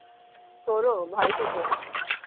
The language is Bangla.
তোর ও ভাই ছোট?